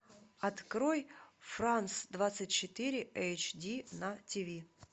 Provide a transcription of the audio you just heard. открой франс двадцать четыре эйч ди на тв